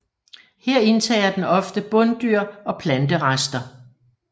Her indtager den ofte bunddyr og planterester